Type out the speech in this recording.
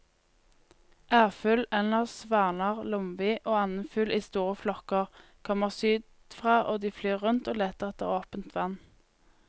Ærfugl, ender, svaner, lomvi og annen fugl i store flokker kommer sydfra og de flyr rundt og leter etter åpent vann.